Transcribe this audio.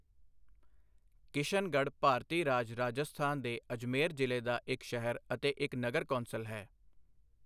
ਕਿਸ਼ਨਗੜ੍ਹ ਭਾਰਤੀ ਰਾਜ ਰਾਜਸਥਾਨ ਦੇ ਅਜਮੇਰ ਜ਼ਿਲ੍ਹੇ ਦਾ ਇੱਕ ਸ਼ਹਿਰ ਅਤੇ ਇੱਕ ਨਗਰ ਕੌਂਸਲ ਹੈ।